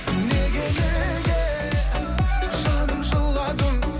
неге неге жаным жыладың